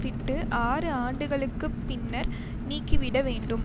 விட்டு ஆறு ஆண்டுகளுக்கு பின்னர் நீங்கிவிட வேண்டும்